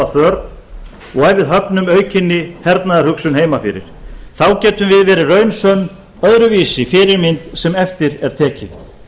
og ef við höfnum aukinni hernaðarhugsun heima fyrir þá getum við verið raunsönn öðruvísi fyrirmynd sem eftir er tekið